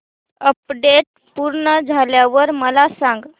update पूर्ण झाल्यावर मला सांग